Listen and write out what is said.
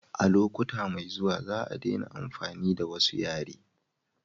a lokuta mai zuwa za a dena amfani da wasu yare